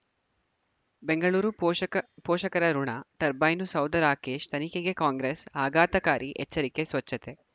ಬೆಂಗಳೂರು ಪೋಷಕ ಪೋಷಕರಋಣ ಟರ್ಬೈನು ಸೌಧ ರಾಕೇಶ್ ತನಿಖೆಗೆ ಕಾಂಗ್ರೆಸ್ ಆಘಾತಕಾರಿ ಎಚ್ಚರಿಕೆ ಸ್ವಚ್ಛತೆ